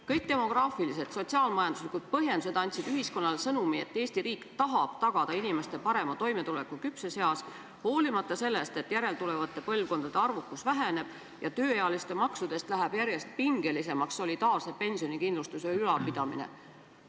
Kõik demograafilised ja sotsiaal-majanduslikud põhjendused andsid ühiskonnale sõnumi, et Eesti riik tahab tagada inimestele parema toimetuleku küpses eas, vaatamata sellele, et järeltulevate põlvkondade arvukus väheneb ja tööealiste maksudega läheb solidaarse pensionikindlustuse ülalpidamine järjest pingelisemaks.